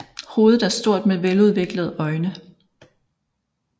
Hovedet er stort med veludviklede øjne